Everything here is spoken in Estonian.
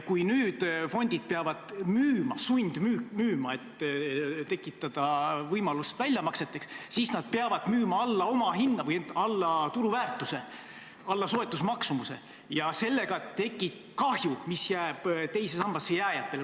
Kui nüüd fondid peavad sundmüüma, et tekitada võimalus väljamakseteks, siis nad peavad müüma alla omahinna või alla turuväärtuse, alla soetusmaksumuse, ja sellega tekib kahju, mis jääb teise sambasse jääjate kanda.